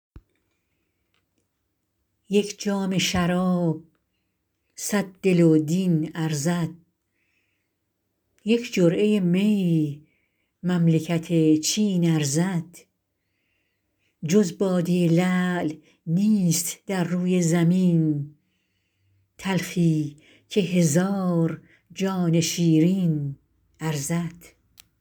یک جام شراب صد دل و دین ارزد یک جرعه می مملکت چین ارزد جز باده لعل نیست در روی زمین تلخی که هزار جان شیرین ارزد